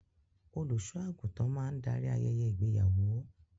Olùṣọ àgùntàn máa n darí ayẹyẹ ìgbéyàwó.